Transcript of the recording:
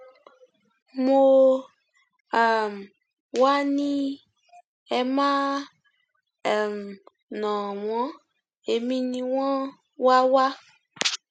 mo um wáá ní ẹ má um nà wọn èmi ni wọn wá wá